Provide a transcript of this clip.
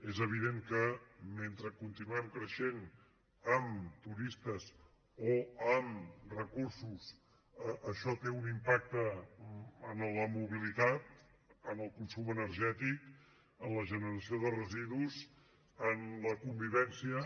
és evident que mentre continuem creixent en turistes o en recursos això té un impacte en la mobilitat en el consum energètic en la generació de residus en la convivència